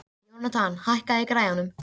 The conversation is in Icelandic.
Jónatan, hækkaðu í græjunum.